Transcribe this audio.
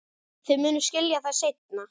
Þið munuð skilja það seinna.